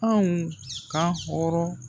Anw ka hɔrɔn